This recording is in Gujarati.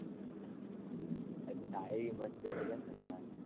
અચ્છા એવી મસ્તી હતી એમ ને તમારી.